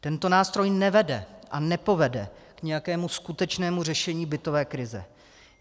Tento nástroj nevede a nepovede k nějakému skutečnému řešení bytové krize.